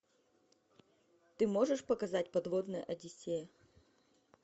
ты можешь показать подводная одиссея